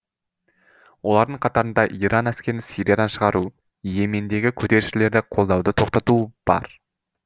олардың қатарында иран әскерін сириядан шығару и емендегі көтерілісшілерді қолдауды тоқтату бар